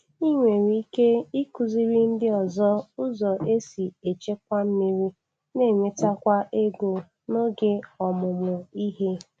Ị nwere ike ịkụziri ndị ọzọ ụzọ esi echekwa mmiri n'enwetakwa ego n’oge ọmụmụ ihe.